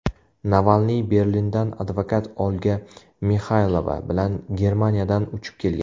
Navalniy Berlindan advokat Olga Mixaylova bilan Germaniyadan uchib kelgan.